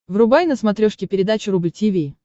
врубай на смотрешке передачу рубль ти ви